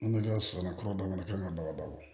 N bɛ ka samara kura dama ba bɔ